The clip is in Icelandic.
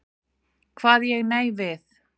Kvað ég nei við.